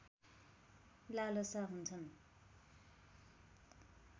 लालसा हुन्छन्